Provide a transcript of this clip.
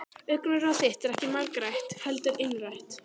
Augnaráð þitt er ekki margrætt heldur einrætt.